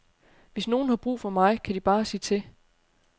Hvis nogen har brug for mig, kan de bare sige til.